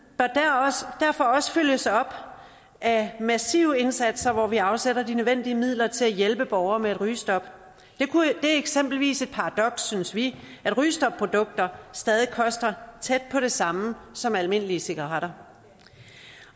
bør derfor også følges op af massive indsatser hvor vi afsætter de nødvendige midler til at hjælpe borgere med et rygestop det er eksempelvis et paradoks synes vi at rygestopprodukter stadig koster tæt på det samme som almindelige cigaretter